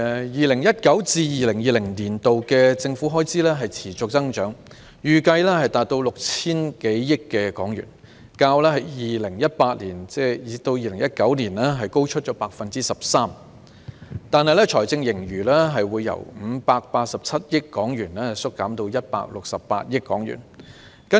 2019-2020 年度的政府開支持續增長，預計達到 6,000 多億元，較 2018-2019 年度高出 13%， 但財政盈餘由587億元縮減至168億元。